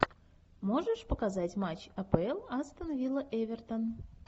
можешь показать матч апл астон вилла эвертон